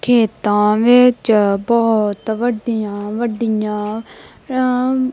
ਖੇਤਾਂ ਵਿਚ ਬਹੁਤ ਵੱਡੀਆਂ ਵੱਡੀਆਂ ਰਾਮ--